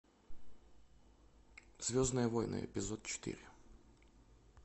звездные войны эпизод четыре